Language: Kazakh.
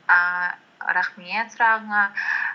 ііі рахмет сұрағыңа